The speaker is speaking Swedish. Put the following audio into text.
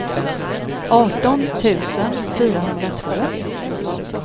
arton tusen fyrahundratvå